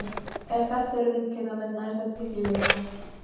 Ef þetta eru viðgerðarmenn nær þetta ekki lengra.